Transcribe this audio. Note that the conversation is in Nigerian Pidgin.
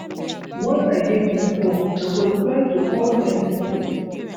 Once I get my fone, I go reply to all their messages.